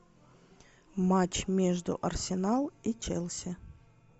матч между арсенал и челси